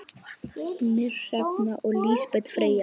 Ýmir, Hrefna og Lísbet Freyja.